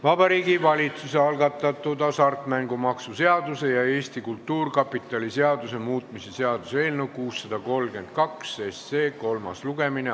Vabariigi Valitsuse algatatud hasartmängumaksu seaduse ja Eesti Kultuurkapitali seaduse muutmise seaduse eelnõu 632 kolmas lugemine.